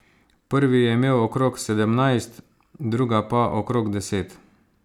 Prvi je imel okrog sedemnajst, druga pa okrog deset.